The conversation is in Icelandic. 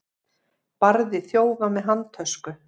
Barði þjófa með handtösku